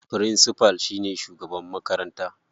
Firincifal shine shugaban makaranta.